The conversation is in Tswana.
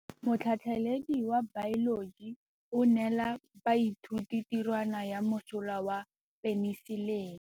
Motlhatlhaledi wa baeloji o neela baithuti tirwana ya mosola wa peniselene.